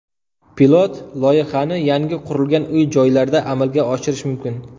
Pilot loyihani yangi qurilgan uy-joylarda amalga oshirish mumkin.